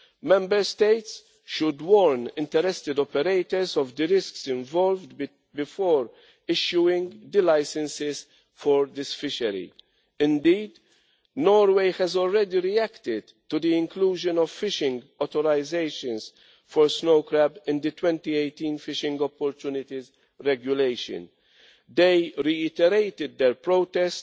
Member States should warn interested operators of the risks involved before issuing the licenses for this fishery. Indeed, Norway has already reacted to the inclusion of fishing authorisations for snow crab in the 2018 fishing opportunities regulation. They reiterated their protest,